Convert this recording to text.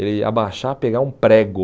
Ele abaixar, pegar um prego.